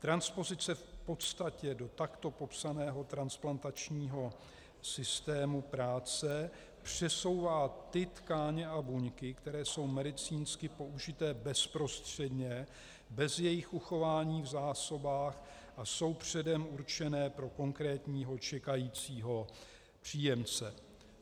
Transpozice v podstatě do takto popsaného transplantačního systému práce přesouvá ty tkáně a buňky, které jsou medicínsky použité bezprostředně bez jejich uchování v zásobách a jsou předem určené pro konkrétního čekajícího příjemce.